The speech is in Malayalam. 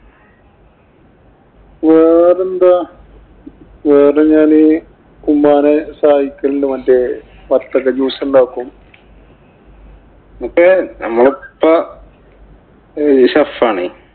വേറെന്താ? വേറെ ഞാന് ഉമ്മാനെ സഹായിക്കലുണ്ട്. മറ്റേ വത്തക്ക juice ഉണ്ടാക്കും. ഇപ്പൊ നമ്മളിപ്പ shef ആണേ.